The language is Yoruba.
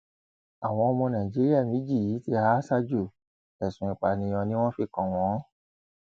àwọn ọmọ nàìjíríà méjì yìí ti há sájò ẹsùn ìpànìyàn ni wọn fi kàn wọn